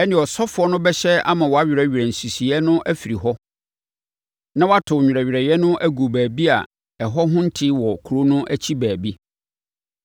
ɛnneɛ, ɔsɔfoɔ no bɛhyɛ ama wɔawerɛwerɛ nsisiiɛ no afiri hɔ na wɔato nwerɛwerɛeɛ no agu baabi a ɛhɔ ho nte wɔ kuro no akyi baabi.